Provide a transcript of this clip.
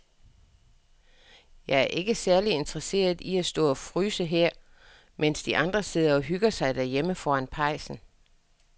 Jeg er ikke særlig interesseret i at stå og fryse her, mens de andre sidder og hygger sig derhjemme foran pejsen.